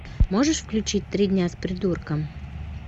можешь включить три дня с придурком